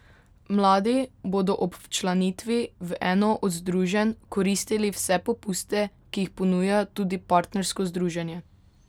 Mladi bodo ob včlanitvi v eno od združenj koristili vse popuste, ki jih ponuja tudi partnersko združenje.